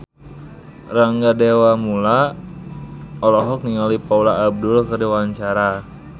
Rangga Dewamoela olohok ningali Paula Abdul keur diwawancara